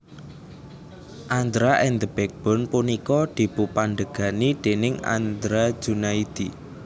Andra and The BackBone punika dipupandhegani déning Andra Junaidi